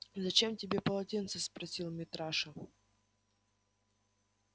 зачем тебе полотенце спросил митраша